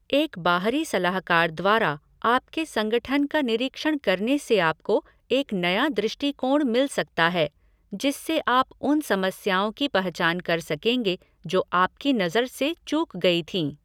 एक बाहरी सलाहकार द्वारा आपके संगठन का निरीक्षण करने से आपको एक नया दृष्टिकोण मिल सकता है जिससे आप उन समस्याओं की पहचान कर सकेंगे जो आपकी नज़र से चूक गई थीं।